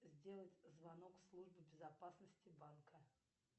сделать звонок в службу безопасности банка